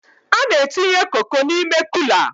A na-entinye Koko n'ime Kula